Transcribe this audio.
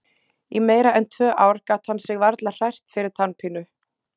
Í meira en tvö ár gat hann sig varla hrært fyrir tannpínu.